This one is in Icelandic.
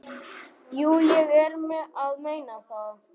Jú, ég er að meina það.